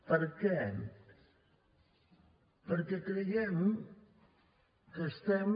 per què perquè creiem que estem